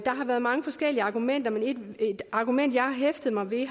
har været mange forskellige argumenter men et argument jeg har hæftet mig ved